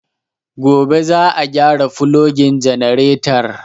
Gobe za a gyara fulogin janaretar